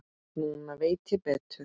Núna veit ég betur.